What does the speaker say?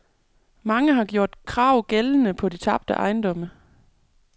Mange har gjort krav gældende på de tabte ejendomme.